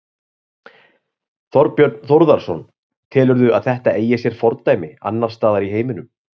Þorbjörn Þórðarson: Telurðu að þetta eigi sér fordæmi annarsstaðar í heiminum?